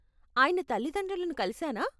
ఆయన తల్లితండ్రులను కలిశానా?